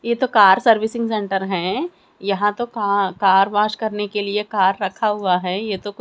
ये तो car servicing centre हैं यहां तो का कार वॉश करने के लिए कार रखा हुआ है ये तो--